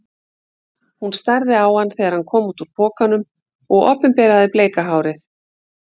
Hún starði á hann þegar hann kom út úr pokanum og opinberaði bleika hárið.